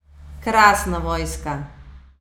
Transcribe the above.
Krasna vojska!